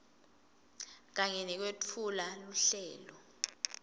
kanye nekwetfula luhlelo